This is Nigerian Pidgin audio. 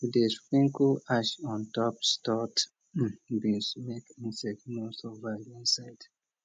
we dey sprinkle ash on top stored beans make insect no survive inside